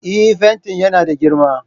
Eh, fentin yana da girma